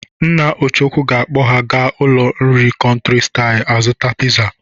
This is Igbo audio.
Nna Ọchụko ga-akpọ ha aga ụlọ nri Country style azụta piza.